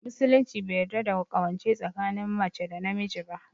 Musulunci bai yarda da ƙawance tsakinin mace da namiji ba